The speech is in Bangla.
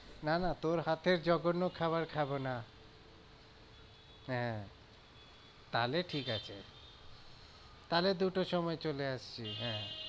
না না তোর হাতের জঘন্য খাবার খাবো না হ্যাঁ তাহলে ঠিক আছে তাহলে দু টোর সময় চলে আসছি হ্যাঁ।